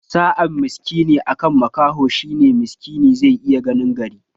Sa'an miskini akan makaho shine miskini zai iya ganin gari